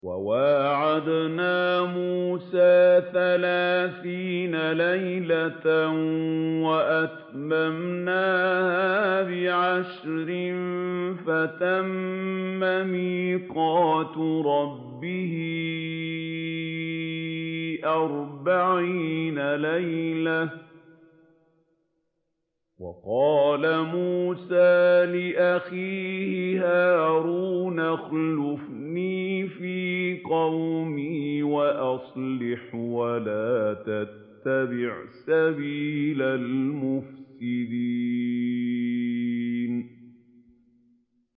۞ وَوَاعَدْنَا مُوسَىٰ ثَلَاثِينَ لَيْلَةً وَأَتْمَمْنَاهَا بِعَشْرٍ فَتَمَّ مِيقَاتُ رَبِّهِ أَرْبَعِينَ لَيْلَةً ۚ وَقَالَ مُوسَىٰ لِأَخِيهِ هَارُونَ اخْلُفْنِي فِي قَوْمِي وَأَصْلِحْ وَلَا تَتَّبِعْ سَبِيلَ الْمُفْسِدِينَ